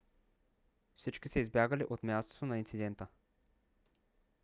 всички са избягали от мястото на инцидента